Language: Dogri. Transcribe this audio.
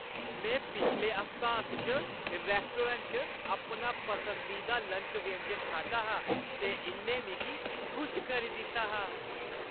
में पिछले हफ्तांत च रैस्टोरैंट च अपना पसंदीदा लंच व्यंजन खाद्धा हा, ते इʼन्नै मिगी खुश करी दित्ता हा।